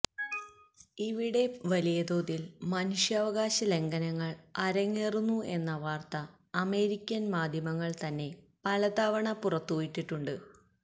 ഇവിടെ വലിയതോതിൽ മനുഷ്യാവകാശ ലംഘനങ്ങൾ അരങ്ങേറുന്നു എന്ന വാർത്ത അമേരിക്കൻ മാധ്യമങ്ങൾ തന്നെ പലതവണ പുറത്തുവിട്ടിട്ടുണ്ട്